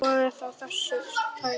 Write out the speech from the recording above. Skoðum þá þessa þætti.